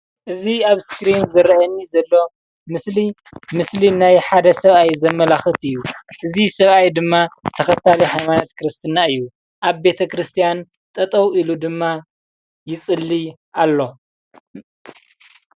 እዚ ኣብ እስክሪን ዝረኣየኒ ዘሎ ምስሊ ምስሊ ናይ ሓደ ሰብኣይ ዘመላክት እዩ። እዚ ሰብኣይ ድማ ተከታሊ ሃይማኖት ክርስትና እዩ። ኣብ ቤተ ክርስትያን ጠጠው ኢሉ ድማ ይፅሊ ኣሎ።